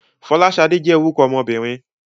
Fọláṣadé jẹ́ orúkọ ọmọbìnrin.